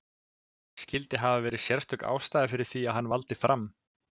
Skyldi hafa verið sérstök ástæða fyrir því að hann valdi Fram?